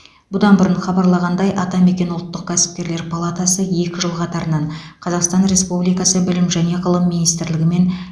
бұдан бұрын хабарлағандай атамекен ұлттық кәсіпкерлер палатасы екі жыл қатарынан қазақстан республикасы білім және ғылым министрлігі мен